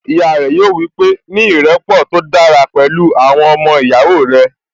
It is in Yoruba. Ìyá rẹ̀ yóò wípé, 'ní ìrẹ́pọ̀ tó dára pẹ̀lú àwọn ọmọ ìyàwó rẹ̀